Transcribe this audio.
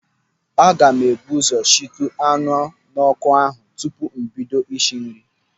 Aga m eburu ụzọ sichuo anụ n'ọkụ ahụ tupu m bido isi nri.